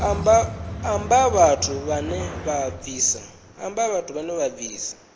amba vhathu vhane vha bvisa